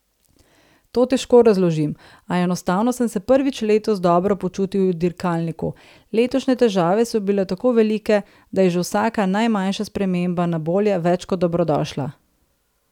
To težko razložim, a enostavno sem se prvič letos dobro počutil v dirkalniku, letošnje težave so bile tako velike, da je že vsaka najmanjša sprememba na bolje več kot dobrodošla.